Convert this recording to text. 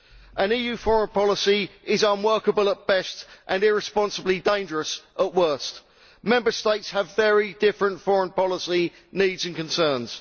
An EU foreign policy is unworkable at best, and irresponsibly dangerous at worst. Member States have very different foreign policy needs and concerns.